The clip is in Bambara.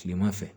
Kilema fɛ